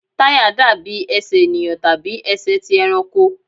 Táyà dàbí Ẹsẹ̀ ènìyàn tàbí ẹsẹ̀ ti ẹranko.